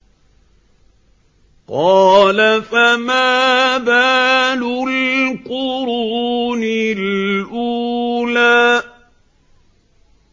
قَالَ فَمَا بَالُ الْقُرُونِ الْأُولَىٰ